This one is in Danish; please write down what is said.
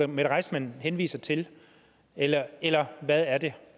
mette reissmann henviser til eller eller hvad er det